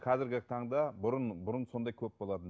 қазіргі таңда бұрын бұрын сондай көп болатын